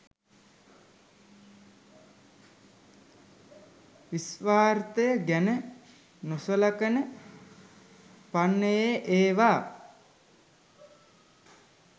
ස්වාර්ථය ගැන නොසලකන පන්නයේ ඒවා.